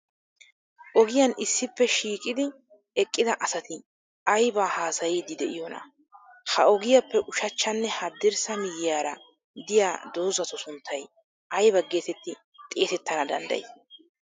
Ogiyan issippe shiiqidi eqqida asati ayibaa haasayiiddi diyoonaa? Ha ogiyaappe ushachchanne haddirssa miyyiyara diya dozzatu sunttay ayiba geetetti xeesettana danddayii?